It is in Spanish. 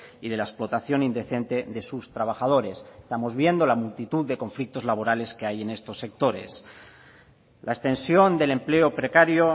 y de la explotación indecente de sus trabajadores estamos viendo la multitud de conflictos laborales que hay en estos sectores la extensión del empleo precario